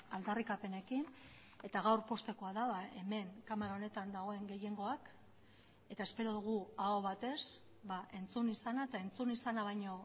aldarrikapenekin eta gaur poztekoa da hemen kamara honetan dagoen gehiengoak eta espero dugu aho batez entzun izana eta entzun izana baino